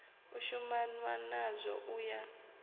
u shumanwa nazwo u ya